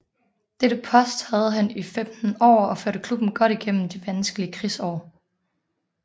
Dette post havde han i 15 år og førte klubben godt igennem de vanskelige krigsår